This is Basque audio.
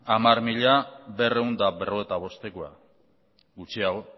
hamar mila berrehun eta berrogeita bostekoa gutxiago